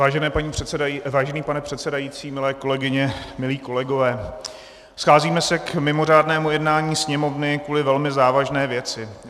Vážený pane předsedající, milé kolegyně, milí kolegové, scházíme se k mimořádnému jednání Sněmovny kvůli velmi závažné věci.